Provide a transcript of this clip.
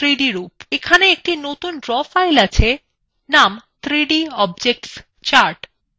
এখানে একটি নতুন draw file আছে named 3dobjectschart